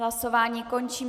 Hlasování končím.